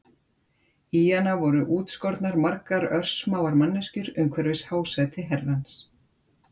Í hana voru útskornar margar örsmáar manneskjur umhverfis hásæti Herrans.